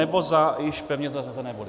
Nebo za již pevně zařazené body.